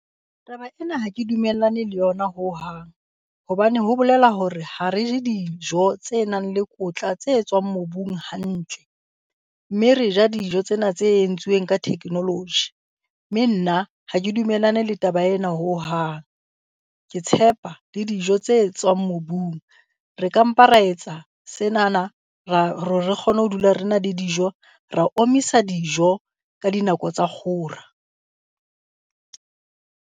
Taba ena ha ke dumellane le yona hohang. Hobane ho bolela hore ha re je dijo tse nang le kotla tse tswang mobung hantle, mme re ja dijo tsena tse entsweng ka technology. Mme nna ha ke dumellane le taba ena hohang. Ke tshepa le dijo tse tswang mobung. Re ka mpa ra etsa senana, hore re kgone ho dula re na le dijo, ra omisa dijo ka dinako tsa kgora.